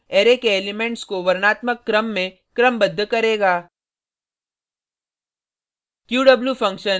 sort function array के elements को वर्णात्मक क्रम में क्रमबद्ध करेगा